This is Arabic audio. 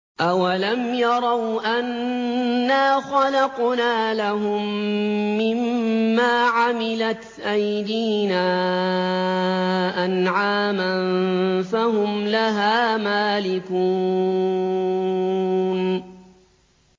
أَوَلَمْ يَرَوْا أَنَّا خَلَقْنَا لَهُم مِّمَّا عَمِلَتْ أَيْدِينَا أَنْعَامًا فَهُمْ لَهَا مَالِكُونَ